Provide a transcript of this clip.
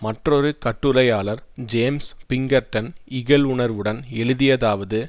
மற்றொரு கட்டுரையாளர் James Pinkerton இகழ்வுணர்வுடன் எழுதியதாவது